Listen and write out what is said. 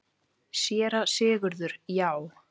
SÉRA SIGURÐUR: Já!